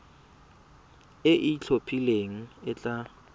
e e itlhophileng e tla